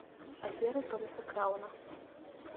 афера томаса крауна